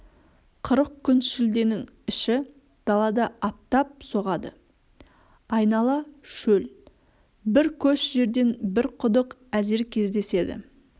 қырық күн шілденің іші далада аптап соғады айнала шөл бір көш жерден бір құдық әзер кездеседі